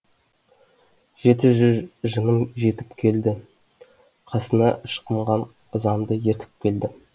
жеті жүз жыным жетіп келді қасына ышқынған ызамды ертіп келді